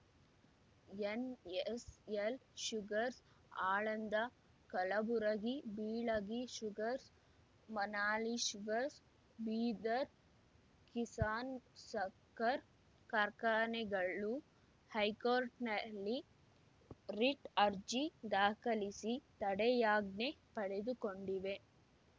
NSL Sugars Aland Kalaburagi Bilagi Sugars Manali Sugars Bidar Kisan ಸಕ್ಕರ್‌ ಕಾರ್ಖಾನೆಗಳು ಹೈಕೋರ್ಟ್‌ನಲ್ಲಿ ರಿಟ್‌ ಅರ್ಜಿ ದಾಖಲಿಸಿ ತಡೆಯಾಜ್ಞೆ ಪಡೆದುಕೊಂಡಿವೆ